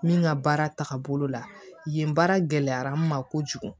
Min ka baara tagabolo la yen yen baara gɛlɛyara n ma kojugu